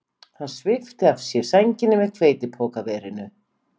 Hann svipti af sér sænginni með hveitipokaverinu.